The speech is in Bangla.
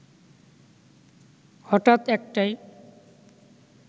হঠাৎ একটায়